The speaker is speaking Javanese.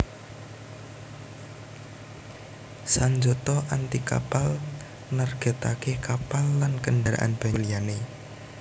Sanjata anti kapal nargètaké kapal lan kendharaan banyu liyané